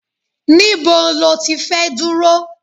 Níbo ló ti fẹ́ dúró?